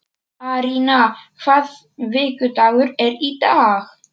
Arína, hvaða vikudagur er í dag?